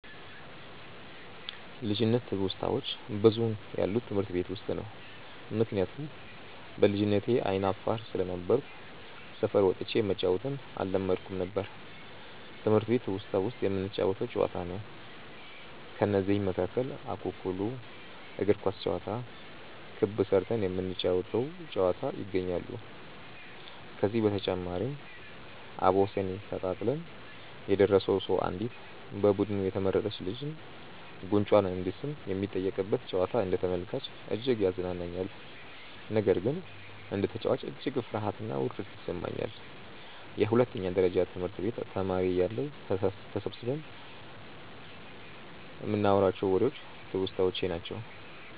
ልጅነት ትውስታዋች ብዙውን ያለው ትምህርት ቤት ውስጥ ነው። ምክንያቱም በልጅነቴ አይነ አፋር ስለነበርኩ ሰፈር ወጥቼ መጫዎትን አለመድኩም ነበር። ትምህርት ቤት ትውስታ ውስጥ የምንጫወተው ጨዋታ ነው። ከነዚህም መካከል እኩኩሉ፣ እግር ኳስ ጨዋታ፣ ክብ ስርተን የምንጫወ ተው ጨዋታ ይገኛሉ። ከዚህ በተጨማሪም አቦሰኔ ተጣጥለን የደረሰው ሰው አንዲት በቡዱኑ የተመረጥች ልጅን ጉንጯን እንዲስም የሚጠየቅበት ጨዋታ አንደ ተመልካች እጅግ ያዝናናኛል። ነገር ግን እንደ ተጨዋች እጅግ ፍርሀትና ውርደት ይሰማኛል። የሁለተኛ ደረጀ ትምህርት ቤት ተማሪ እያለሁ ተሰብስበን ይንናዋራቸው ዎሬዎች ትውስታዎቼ ናቸው።